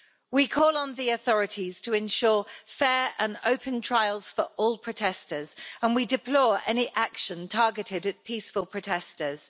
We call on the authorities to ensure fair and open trials for all protesters, and we deplore any action targeted at peaceful protesters.